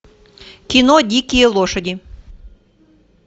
кино дикие лошади